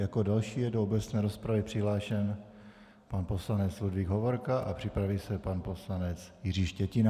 Jako další je do obecné rozpravy přihlášen pan poslanec Ludvík Hovorka a připraví se pan poslanec Jiří Štětina.